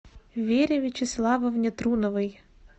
вере вячеславовне труновой